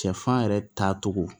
Cɛ fan yɛrɛ taacogo